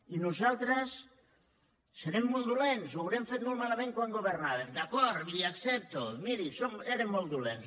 i nosaltres devem ser molt dolents devem haver ho fet molt malament quan governàvem d’acord li ho accepto miri érem molt dolents